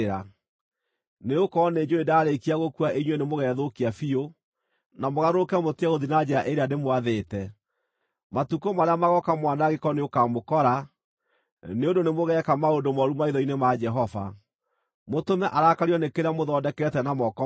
Nĩgũkorwo nĩnjũũĩ ndaarĩkia gũkua inyuĩ nĩ mũgethũkia biũ, na mũgarũrũke mũtige gũthiĩ na njĩra ĩrĩa ndĩmwathĩte. Matukũ marĩa magooka mwanangĩko nĩũkamũkora, nĩ ũndũ nĩmũgeeka maũndũ mooru maitho-inĩ ma Jehova, mũtũme arakario nĩ kĩrĩa mũthondekete na moko manyu.”